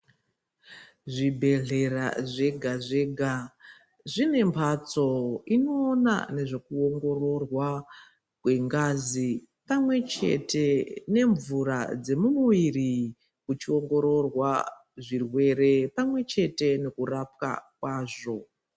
Zvibhedhlera zvega-zvega, zvine mphatso inoona nezvekuongororwa kwengazi, pamwe chete nemvura dzemumuviri kuchiongororwa zvirwere, pamwe chete nekurapwa kwazvo.